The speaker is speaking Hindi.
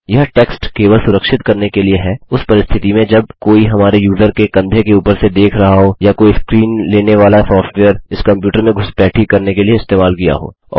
यह टेक्स्ट केवल सुरक्षित करने के लिए है उस परिस्थिति में जब कोई हमारे यूज़र के कंधे के ऊपर से देख रहा हो या कोई स्क्रीन लेने वाला सॉफ्टवेयर इस कंप्यूटर में घुसपैठी करने के लिए इस्तेमाल किया हो